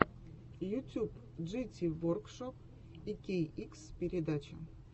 ютьюб джити воркшоп икейикс передача